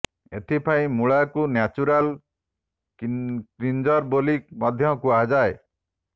ଏଥିପାଇଁ ମୂଳାକୁ natural cleanser ବୋଲି ମଧ୍ୟ କୁହା ଯାଇଥାଏ